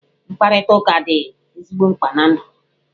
Mkparịtụka dị ezigbo mkpa na ndụ.